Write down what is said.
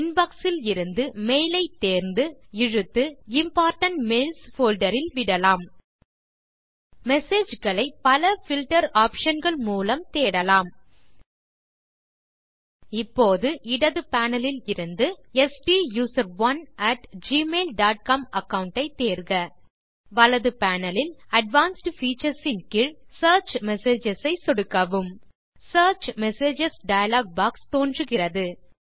inbox இலிருந்து mail ஐ தேர்ந்து இழுத்து இம்போர்டன்ட் மெயில்ஸ் போல்டர் இல் விடலாம் மெசேஜ் களை பல பில்ட்டர் ஆப்ஷன்ஸ் மூலம் தேடலாம் இப்போது இடது panelஇலிருந்து STUSERONEgmail டாட் காம் அகாவுண்ட் ஐ தேர்க வலது பேனல் இல் அட்வான்ஸ்ட் பீச்சர்ஸ் ன் கீழ் சியர்ச் மெசேஜஸ் ஐ சொடுக்கவும் சியர்ச் மெசேஜஸ் டயலாக் பாக்ஸ் தோன்றுகிறது